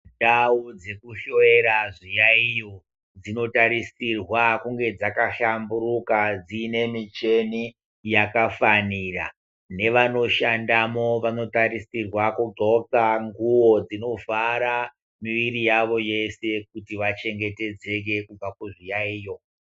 Ndau dzekuhloiyera zviyayiyo dzinotarisirwa kunge dzakahlamburuka dzine muchini yakafanira ,nevanoshandamo vanotarisirwa kugoka ngubo dzinovhara mwiriyavo yeshe kuti vachengetedzeke kubva kuzviyayiyo.